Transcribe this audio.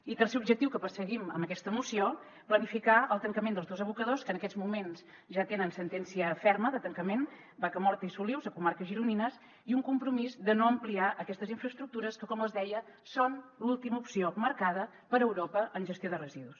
i tercer objectiu que perseguim amb aquesta moció planificar el tancament dels dos abocadors que en aquests moments ja tenen sentència ferma de tancament vaca morta i solius a comarques gironines i un compromís de no ampliar aquestes infraestructures que com els deia són l’última opció marcada per europa en gestió de residus